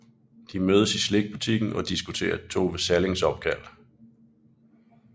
De mødes i slikbutikken og diskuterer Tove Sallings opkald